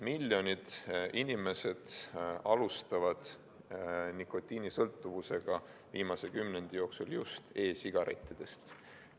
Miljonid inimesed alustavad nikotiinisõltuvusega viimase kümnendi jooksul just e-sigarettidest.